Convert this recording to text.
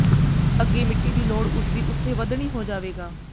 ਅੱਗੇ ਮਿੱਟੀ ਦੀ ਲੋੜ ਉਸਦੀ ਉੱਥੇ ਵਧਣੀ ਹੋ ਜਾਵੇਗਾ